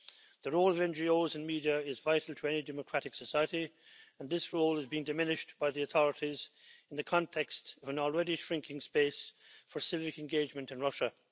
The role of NGOs and media is vital to any democratic society, and this role is being diminished by the authorities in the context of an already shrinking space for civic engagement in Russia.